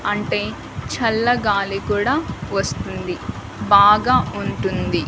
అంటే చల్లగాలి కూడా వస్తుంది బాగా ఉంటుంది.